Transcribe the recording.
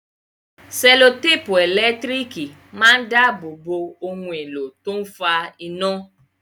Sẹ́lòtèpù ẹ̀lẹ́tírìkì máa ń dábòo bo ohun èlò tó ń fa iná.